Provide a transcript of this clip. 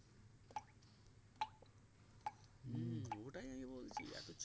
হুম ওটাই আমি বলছি